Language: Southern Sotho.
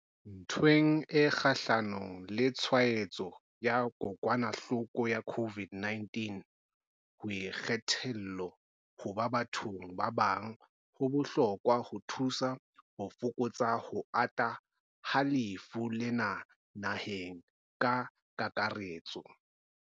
Ntweng e kgahlano le tshwaetso ya kokwanahloko ya COVID-19, ho ikgetholla ho ba bathong ba bang ho bohlokwa ho thusa ho fokotsa ho ata ha lefu lena naheng ka kakaretso.